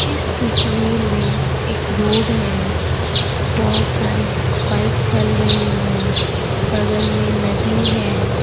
इस तस्वीर में एक रोड हैं बहोत सारी बाइक चल रही हैं बगल मे नदी हैं।